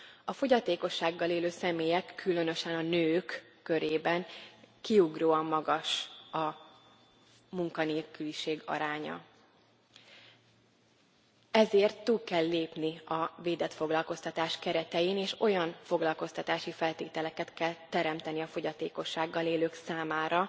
A fogyatékossággal élő személyek, különösen a nők körében kiugróan magas a munkanélküliség aránya, ezért túl kell lépni a védett foglalkoztatás keretein, és olyan foglalkoztatási feltételeket kell teremteni a fogyatékossággal élők számára,